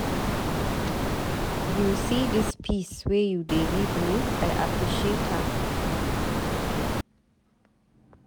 You see dis peace wey you dey give me, I appreciate am.